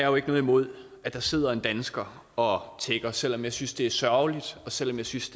jo ikke noget imod at der sidder en dansker og tigger selv om jeg synes det er sørgeligt og selv om jeg synes